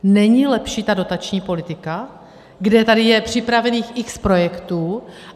Není lepší ta dotační politika, kde tady je připravených x projektů?